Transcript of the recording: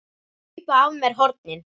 Hlaupa af mér hornin.